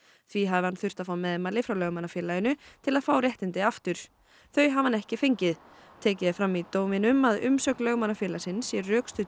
því hafi hann þurft að fá meðmæli frá Lögmannafélaginu til að fá réttindi aftur þau hafi hann ekki fengið tekið er fram í dóminum að umsögn Lögmannafélagsins sé rökstudd